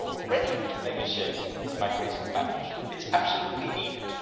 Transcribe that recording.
we are ready to negotiate this migration package. It is absolutely needed.